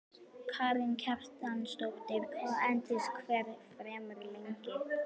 Karen Kjartansdóttir: Hvað endist hver farmur lengi?